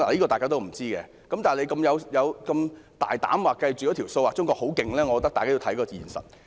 大家不知道，但如此大膽的計算，說中國很厲害，我覺得大家需要看看現實。